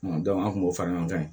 an kun b'o fara ɲɔgɔn kan